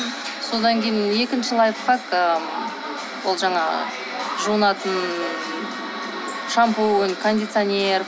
содан кейін екінші лайфхак ы бұл жаңағы жуынатын шампунь кондиционер